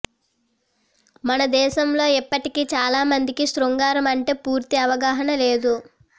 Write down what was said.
మన దేశంలో ఇప్పటికీ చాలా మందికి శృంగారం అంటే పూర్తి అవగాహన లేదు